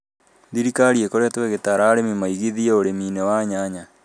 Thirikari ĩkoretwo ĩgitaara arĩmi maigithie ũrĩmi-inĩ wa nyanya